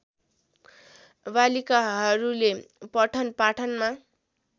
बालिकाहरूले पठन पाठनमा